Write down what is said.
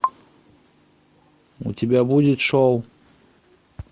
у тебя будет шоу